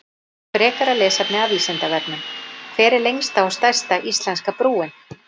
Frekara lesefni af Vísindavefnum: Hver er lengsta og stærsta íslenska brúin?